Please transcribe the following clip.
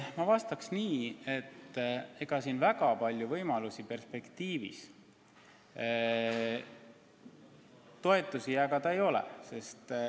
Ma vastaks nii, et väga palju võimalusi edaspidi toetusi jagada ei ole.